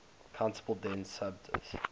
countable dense subset